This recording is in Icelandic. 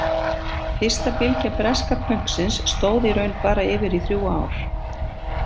Fyrsta bylgja breska pönksins stóð í raun bara yfir í þrjú ár.